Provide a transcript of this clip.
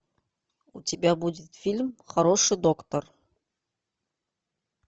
у тебя будет фильм хороший доктор